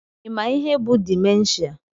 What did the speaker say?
Ị ma ihe bụ dimenshia?